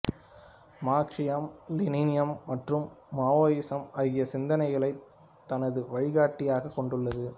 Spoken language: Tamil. மாக்சியம் லெனினியம் மற்றும் மாவோயிசம் ஆகிய சிந்தனைகளைத் தனது வழிகாட்டியாகக் கொண்டுள்ளது